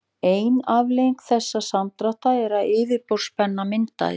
ein afleiðing þessa samdráttar er að yfirborðsspenna myndast